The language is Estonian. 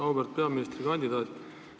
Auväärt peaministrikandidaat!